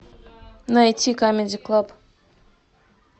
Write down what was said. найти камеди клаб